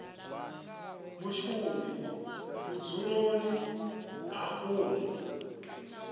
mushumi vhudzuloni ha u mu